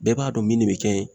Bɛɛ b'a dɔn min ne bɛ kɛ